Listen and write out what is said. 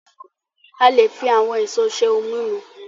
A le fi àwọn èso ṣe ohun mímu